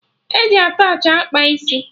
E ji attachị akpa isi